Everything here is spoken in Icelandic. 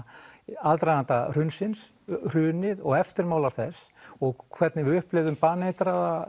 í aðdraganda hrunsins hrunið og eftirmáli þess og hvernig við upplifðum baneitrað